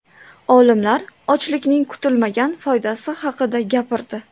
Olimlar ochlikning kutilmagan foydasi haqida gapirdi.